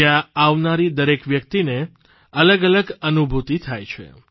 જ્યાં આવનારી દરેક વ્યક્તિને અલગઅલગ અનૂભુતિ થાય છે